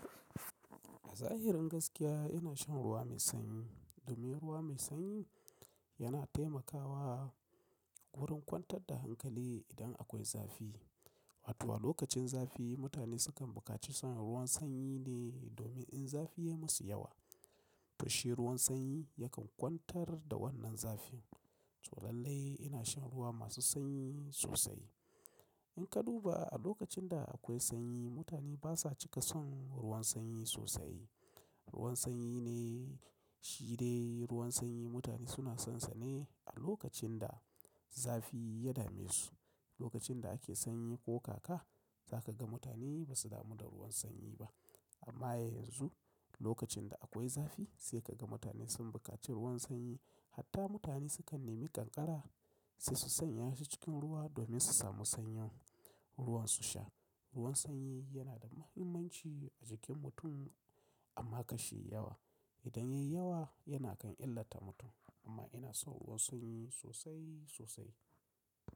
A zahirin gaskiya ina shan ruwa mai sanyi domin ruwa mai sanyi yana taimakawa wurin kwantar da hankali idan akwai zafi. Wato lokacin zafi mutane sukan bukaci son ruwan sanyi ne domin in zafi ya masu yawa, to shi ruwan sanyi yakan kwantar da wannan zafin. To lallai ina shan ruwa masu sanyi sosai. In ka duba a lokacin da akwai sanyi mutane basa cika son ruwan sanyi sosai. Ruwan sanyi ne, shi dai ruwan sanyi mutane suna sonsa ne a lokacin da zafi ya dame su. Lokacin da ake sanyi ko kaka zaka ga mutane basu damu da ruwan sanyi ba. Amma yanzu lokacin da akwai zafi sai ka ga mutane sun buƙaci ruwan sanyi. Hatta mutane sukan nemi ƙanƙara sai su sanya shi cikin ruwa domin su samu sanyin ruwan su sha. Ruwan sanyi yana da muhimmanci a jikin mutum amma kashi yi yawa. Idan yayi yawa yana kan illata mutum. Amma ina son ruwan sanyi sosai sosai.